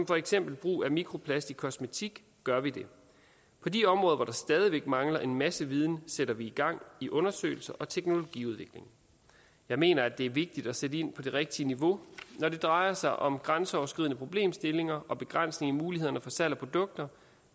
for eksempel brug af mikroplast i kosmetik gør vi det på de områder hvor der stadig væk mangler en masse viden sætter vi gang i undersøgelser og teknologiudvikling jeg mener det er vigtigt at sætte ind på det rigtige niveau og når det drejer sig om grænseoverskridende problemstillinger og begrænsning i mulighederne for salg af produkter